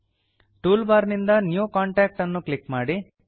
tool bar ನಿಂದ new contact ಅನ್ನು click ಮಾಡಿ